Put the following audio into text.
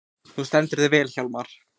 Þú stendur þig vel, Hjarnar!